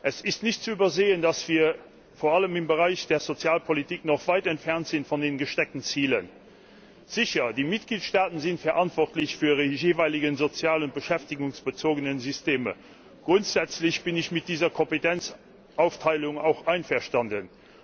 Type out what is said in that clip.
Es ist nicht zu übersehen, dass wir vor allem im Bereich der Sozialpolitik noch weit von den gesteckten Zielen entfernt sind. Sicher, die Mitgliedstaaten sind verantwortlich für ihre jeweiligen sozial und beschäftigungsbezogenen Systeme. Grundsätzlich bin ich mit dieser Kompetenzaufteilung auch einverstanden.